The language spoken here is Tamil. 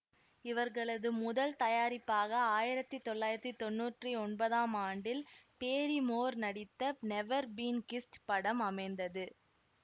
இவர்களது முதல் தயாரிப்பாக ஆயிரத்தி தொள்ளாயிரத்தி தொன்னூற்றி ஒன்பதாம் ஆண்டில் பேரிமோர் நடித்த நெவர் பீன் கிஸ்டு படம் அமைந்தது